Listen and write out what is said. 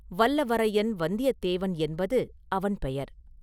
வல்லவரையன் வந்தியத்தேவன் என்பது அவன் பெயர்.